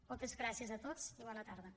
moltes gràcies a tots i bona tarda